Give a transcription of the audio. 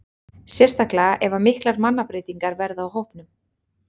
Sérstaklega ef að miklar mannabreytingar verða á hópnum.